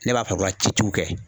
Ne b'a fɛ k'o la ci ciw kɛ.